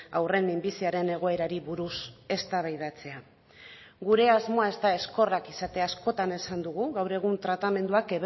haurren minbiziaren egoerari buruz eztabaidatzea gure asmoa ez da ezkorrak izatea askotan esan dugu gaur egun tratamenduak